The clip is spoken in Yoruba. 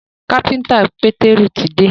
kápẹ́ńtà peteru tí dé